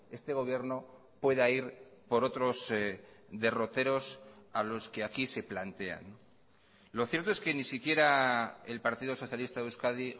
este gobierno pueda ir por otros derroteros a los que aquí se plantean lo cierto es que ni siquiera el partido socialista de euskadi